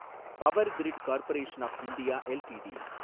power grid corporation of India LTD